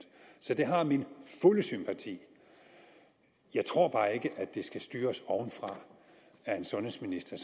så det har min fulde sympati jeg tror bare ikke at det skal styres ovenfra af en sundhedsminister